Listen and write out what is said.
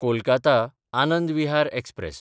Kolkata Anand Vihar express